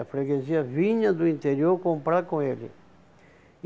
A freguesia vinha do interior comprar com ele.